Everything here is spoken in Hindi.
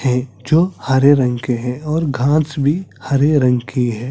है जो हरे रंग के है और घास भी हरे रंग की हैं ।